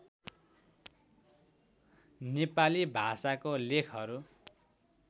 नेपाली भाषाको लेखहरू